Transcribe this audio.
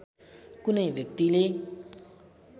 कुनै व्यक्तिले